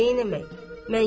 Amma neynimək?